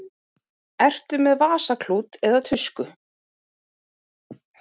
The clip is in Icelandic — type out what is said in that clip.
Ertu með vasaklút eða tusku?